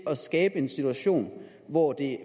at skabe en situation hvor